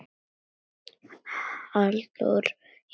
Halldór í ham